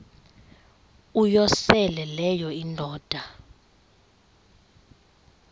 uyosele leyo indoda